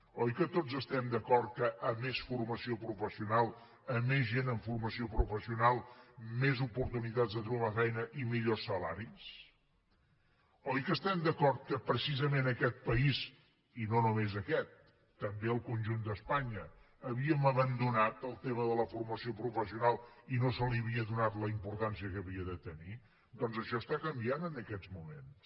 oi que tots estem d’acord que com més formació professional com més gent amb formació professional més oportunitats de trobar feina i millors salaris oi que estem d’acord que precisament aquest país i no només aquest també el conjunt d’espanya havíem abandonat el tema de la formació professional i no se li havia donat la importància que havia de tenir doncs això està canviant en aquests moments